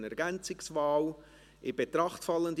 Est élu : Bürki Christoph mit 151 Stimmen / par 151 voix.